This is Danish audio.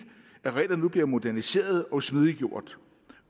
at reglerne nu bliver moderniseret og smidiggjort